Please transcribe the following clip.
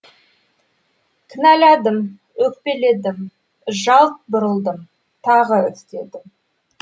кінәладым өкпеледім жалт бұрылдым тағы іздедім